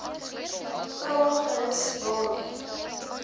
vra gerus waarom